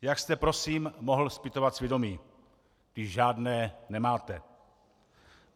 Jak jste prosím mohl zpytovat svědomí, když žádné nemáte?